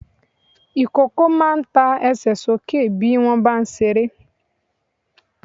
Ìkókó máa ń ta Ẹsẹ̀ sókè bí wọ́n bá ń ṣeré.